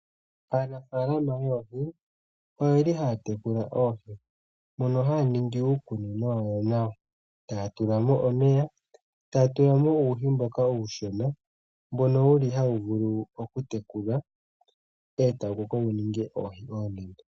Aanafalama oyendji oyeli haya tekula oohi, mono haya ningi uukunino wawo nawa, taya tula mo omeya, taya tula mo uuhi mboka uushona, mbono wuli hawu vulu okutekulwa, e tawu koko wuninge oohi oonene.